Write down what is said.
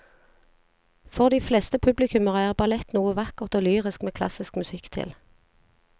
For de fleste publikummere er ballett noe vakkert og lyrisk med klassisk musikk til.